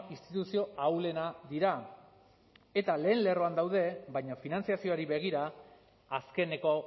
instituzio ahulena dira eta lehen lerroan daude baina finantzazioari begira azkeneko